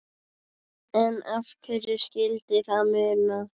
En hverju skyldi það muna?